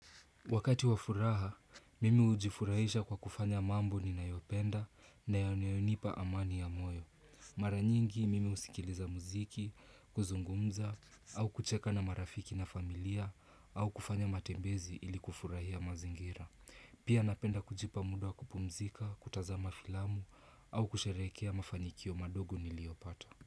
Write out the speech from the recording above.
Wakati wa furaha, mimi hujifurahisha kwa kufanya mambo ninayopenda na yanayonipa amani ya moyo. Mara nyingi, mimi husikiliza muziki, kuzungumza, au kucheka na marafiki na familia, au kufanya matembezi ili kufurahia mazingira. Pia napenda kujipa muda wa kupumzika, kutazama filamu, au kusherehekea mafanikio madogo niliyopata.